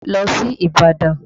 Lọ sí Ìbàdàn!